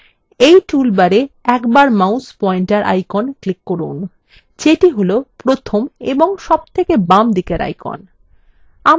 in toolbarএ একবার mouse pointer icon click করুন যেটি হল প্রথম এবং সবথেকে বামদিকের icon